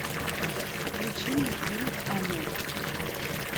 включи мне фильм оно